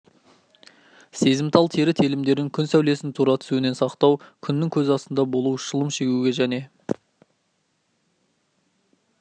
сезімтал тері телімдерін күн сәулесінің тура түсуінен сақтау күннің көзі астында болу шылым шегуге және